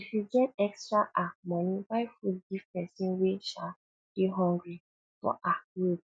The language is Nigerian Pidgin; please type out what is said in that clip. if you get extra um money buy food give person wey um dey hungry for um road